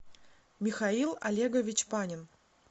михаил олегович панин